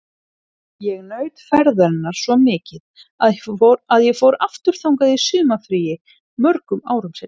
Ég naut ferðarinnar svo mikið að ég fór aftur þangað í sumarfrí mörgum árum síðar.